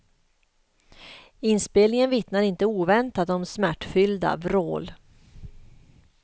Inspelningen vittnar inte oväntat om smärtfyllda vrål.